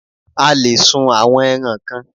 A le è sun àwọn ẹran kan